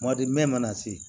Kumadi mɛ mana se